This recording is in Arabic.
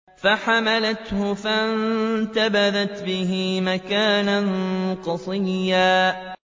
۞ فَحَمَلَتْهُ فَانتَبَذَتْ بِهِ مَكَانًا قَصِيًّا